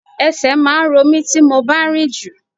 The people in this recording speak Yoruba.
Ẹsẹ̀ máa ń ro mí tí mo bá rinju.